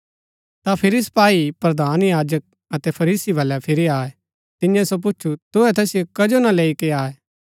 ता फिरी सपाई प्रधान याजक अतै फरीसी वलै फिरी आये तियें सो पुछु तुहै तैसिओ कजो ना लेई के आये